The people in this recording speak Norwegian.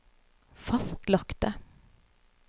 fastlagte